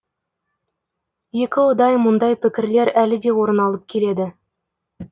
екі ұдай мұндай пікірлер әлі де орын алып келеді